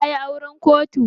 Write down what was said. Ta yi auren kotu.